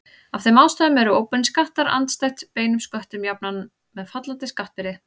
Af þeim ástæðum eru óbeinir skattar andstætt beinum sköttum jafnan með fallandi skattbyrði.